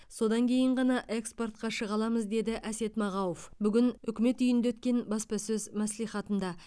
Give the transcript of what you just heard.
содан кейін ғана экспортқа шыға аламыз деді әсет мағауов бүгін үкімет үйінде өткен баспасөз мәслихатында